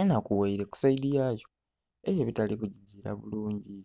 endhakughaire ku saidhi yayo eriyo ebitali ku gigila bulungi.